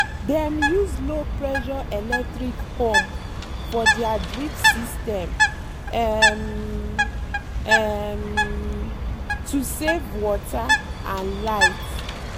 dem use low-pressure electric pump for their drip system um um to save water and light.